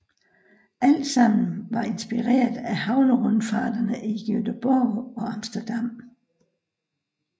Alt sammen var inspireret af havnerundfarterne i Gøteborg og Amsterdam